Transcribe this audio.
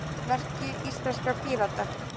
Merki íslenskra Pírata.